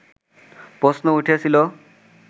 প্রশ্ন উঠেছিল